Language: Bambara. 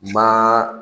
Ma